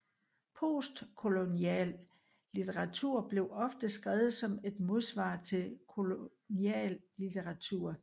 Postkolonial litteratur bliver ofte skrevet som et modsvar til kolonial litteratur